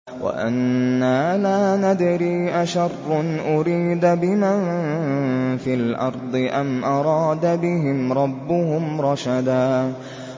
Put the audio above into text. وَأَنَّا لَا نَدْرِي أَشَرٌّ أُرِيدَ بِمَن فِي الْأَرْضِ أَمْ أَرَادَ بِهِمْ رَبُّهُمْ رَشَدًا